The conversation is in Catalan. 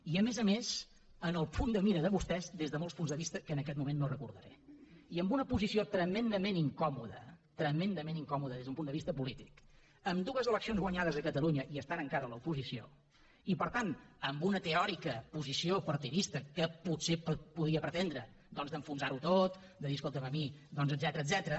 i a més a més en el punt de mira de vostès des de molts punts de vista que en aquest moment no recordaré i en una posició tremendament incòmoda tremendament incòmoda des d’un punt de vista polític amb dues eleccions guanyades a catalunya i estant encara a l’oposició i per tant amb una teòrica posició partidista que potser podia pretendre doncs d’enfonsar ho tot de dir escolta’m a mi etcètera